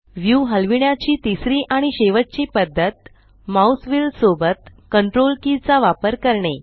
view हलविण्याची तिसरी आणि शेवटची पद्धत माउस व्हील सोबत CTRL की चा वापर करणे